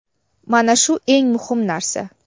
Mana shu eng muhim narsa.